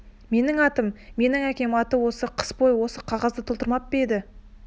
менің атым мен әкем аты осы қыс бойы сан қағазды толтырмап па еді